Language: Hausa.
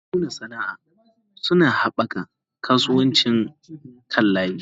Masu nuna sana'a suna haɓaka kasuwancin kan layi.